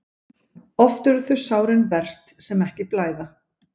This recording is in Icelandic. Oft eru þau sárin verst sem ekki blæða.